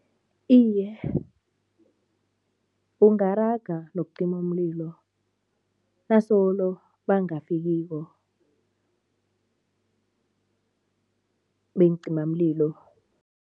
Iye, ungaraga nokucima umlilo, nasolo bangafikiko beencimamlilo.